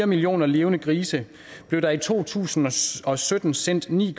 millioner levende grise blev der i to tusind og sytten sendt ni